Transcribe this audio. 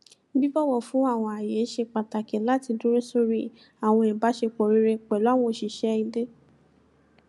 bíbọwọ fún àwọn ààyè ṣe pàtàkì láti dúró sóri àwọn ìbáṣepọ rere pẹlú àwọn òṣìṣẹ ilé